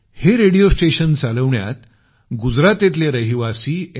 हे radio station चालवण्यात गुजरातेतले रहिवासी एम